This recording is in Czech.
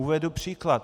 Uvedu příklad.